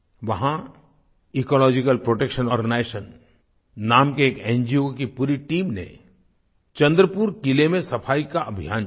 वहां ecological protection organisation नाम के एक एनजीओ की पूरी टीम ने चंद्रपुर किले में सफाई का अभियान चलाया